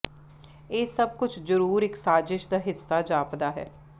ਇਹ ਸਭ ਕੁੱਝ ਜ਼ਰੂਰ ਇੱਕ ਸਾਜ਼ਿਸ਼ ਦਾ ਹਿੱਸਾ ਜਾਪਦਾ ਹੈ